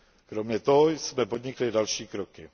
Kromě toho jsme podnikli i další kroky.